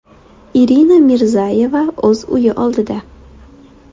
Irina Mirzayeva o‘z uyi oldida.